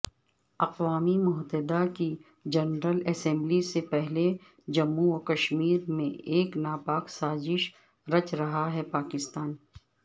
اقوام متحدہ کی جنرل اسمبلی سے پہلےجموں وکشمیرمیں ایک ناپاک سازش رچ رہاہے پاکستان